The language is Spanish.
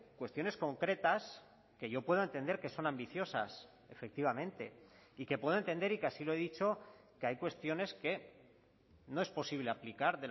cuestiones concretas que yo pueda entender que son ambiciosas efectivamente y que puedo entender y que así lo he dicho que hay cuestiones que no es posible aplicar